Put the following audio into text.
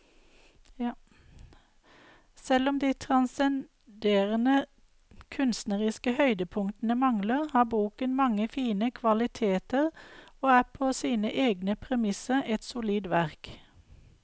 Selv om de transcenderende kunstneriske høydepunktene mangler, har boken mange fine kvaliteter og er på sine egne premisser et solid verk.